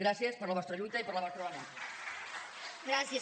gràcies per la vostra lluita i per la vostra vehemència